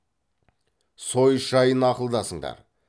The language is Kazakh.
сойыс жайын ақылдасыңдар